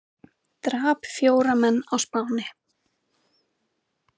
Drap fjóra menn á Spáni